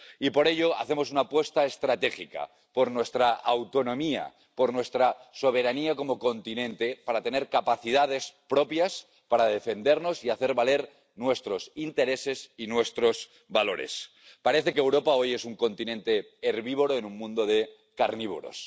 Y, por ello, hacemos una apuesta estratégica, por nuestra autonomía, por nuestra soberanía como continente, para tener capacidades propias para defendernos y hacer valer nuestros intereses y nuestros valores. Parece que Europa hoy es un continente herbívoro en un mundo de carnívoros.